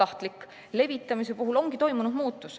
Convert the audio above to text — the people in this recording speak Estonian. levitamise puhul ongi toimunud muutus.